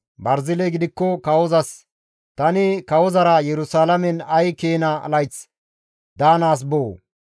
Barziley gidikko kawozas, «Tani kawozara Yerusalaamen ay keena layth daanaas boo?